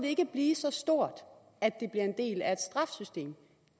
ikke blive så stort at det bliver en del af et straffesystem